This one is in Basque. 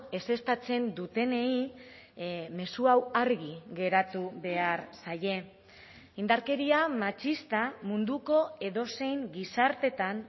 ezeztatzen dutenei mezu hau argi geratu behar zaie indarkeria matxista munduko edozein gizartetan